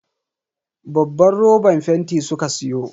Babban roban fenti suka siyo.